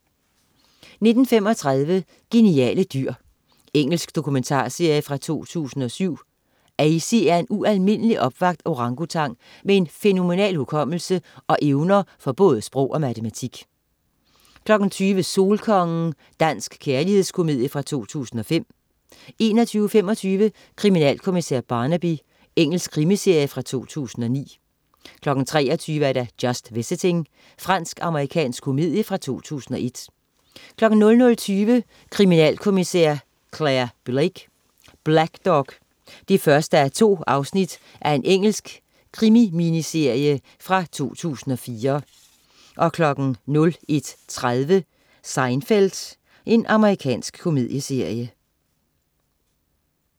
19.35 Geniale dyr. Engelsk dokumentarserie fra 2007. Azy er en ualmindelig opvakt orangutang med en fænomenal hukommelse og evner for både sprog og matematik 20.00 Solkongen. Dansk kærlighedskomedie fra 2005 21.25 Kriminalkommissær Barnaby. Engelsk krimiserie fra 2009 23.00 Just Visiting. Fransk-amerikansk komedie fra 2001 00.20 Kriminalkommissær Clare Blake: Blackdog 1:2. Engelsk krimi-miniserie fra 2004 01.30 Seinfeld. Amerikansk komedieserie